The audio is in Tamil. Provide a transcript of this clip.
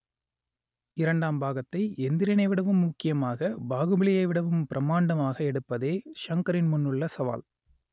இரண்டாம் பாகத்தை எந்திரனைவிடவும் முக்கியமாக பாகுபலியைவிடவும் பிரமாண்டமாக எடுப்பதே ஷங்கரின் முன்னுள்ள சவால்